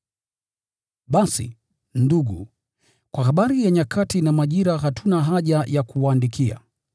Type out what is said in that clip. Basi, ndugu, kwa habari ya nyakati na majira hatuna haja ya kuwaandikia,